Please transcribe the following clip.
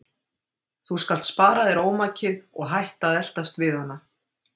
Þú skalt spara þér ómakið og hætta að eltast við hana.